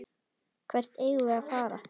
Hvert eigum við að fara?